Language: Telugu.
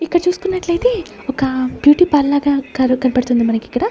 ఇక్కడ చూసుకున్నట్లయితే ఒక బ్యూటీ పార్లర్ లాగా కారు కనబడుతుంది మనకి ఇక్కడ.